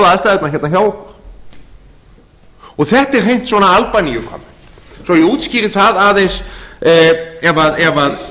aðstæðurnar hérna hjá okkur þetta er hreint svona albaníukomment svo að ég útskýri það aðeins ef